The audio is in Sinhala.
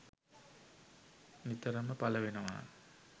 නිතරම පල වෙනවා